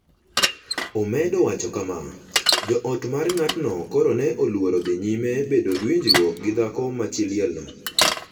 omedo wacho kama: “Jo ot mar ng’atno koro ne oluor dhi nyime bedo gi winjruok gi dhako ma chi lielno